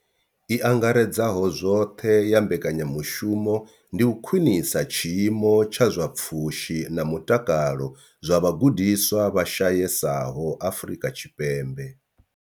I angaredzaho zwoṱhe ya mbekanyamushumo ndi u khwinisa tshiimo tsha zwa pfushi na mutakalo zwa vhagudiswa vha shayesaho Afrika Tshipembe.